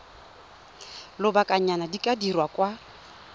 lobakanyana di ka dirwa kwa